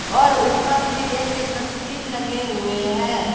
और ऊपर में एक तस्वीर लगे हुए हैं।